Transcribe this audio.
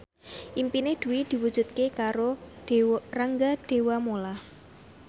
impine Dwi diwujudke karo Rangga Dewamoela